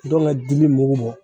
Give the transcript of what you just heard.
Ntɔngɛ dili mugu bɔ